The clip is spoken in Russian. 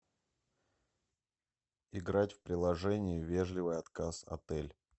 играть в приложение вежливый отказ отель